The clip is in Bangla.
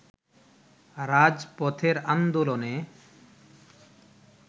রাজপথের আন্দোলনে